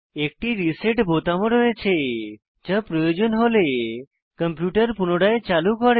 একটি রিসেট বোতাম ও রয়েছে যা প্রয়োজন হলে কম্পিউটার পুনরায় চালু করে